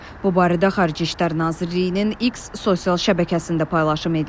Bu barədə Xarici İşlər Nazirliyinin X sosial şəbəkəsində paylaşım edilib.